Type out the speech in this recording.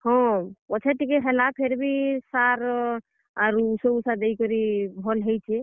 ହଁ, ପଛେ ଟିକେ ହେଲା ଫେରଭି, ସାର୍ ଆରୁ, ଉସୋ ଉଷା ଦେଇକି ଭଲ୍ ହେଇଛେ।